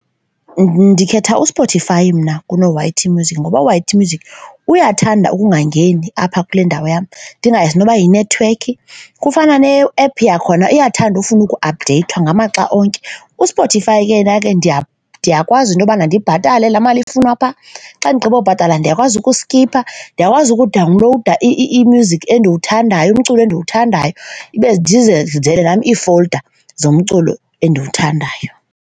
Ndikhetha uSpotify mna kuno-Y_T music ngoba u-Y_T Music music uyathanda ukungangeni apha kule ndawo yam, ndingayazi noba yinethiwekhi. Kufana ne-ephu yakhona iyathanda ufuna ukuaphdeyithwa ngamaxa onke. USpotify ke yenake ke ndiyakwazi into yobana ndibhatale laa mali ifunwa phaa xa ndigqiba ubhatala ndiyakwazi ukuskipha. Ndiyakwazi ukudawunlowuda i-music endiwuthandayo, umculo endiwuthandayo, ibe ndizenzele nam ii-folder zomculo endiwuthandayo.